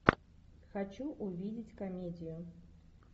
хочу увидеть комедию